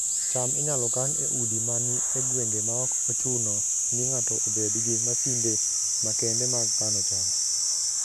cham inyalo kan e udi ma ni e gwenge maok ochuno ni ng'ato obed gi masinde makende mag kano cham